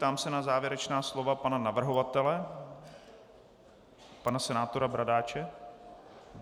Ptám se na závěrečná slova pana navrhovatele, pana senátora Bradáče.